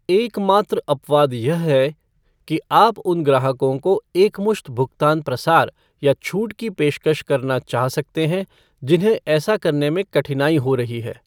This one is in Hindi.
एकमात्र अपवाद यह है कि आप उन ग्राहकों को एकमुश्त भुगतान प्रसार या छूट की पेशकश करना चाह सकते हैं, जिन्हें ऐसा करने में कठिनाई हो रही है।